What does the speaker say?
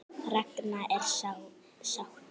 Ragna er sátt.